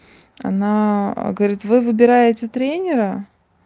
она говорит вы выбираете тренера